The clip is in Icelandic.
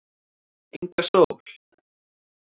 Inga Sól